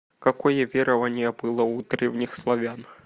какое верование было у древних славян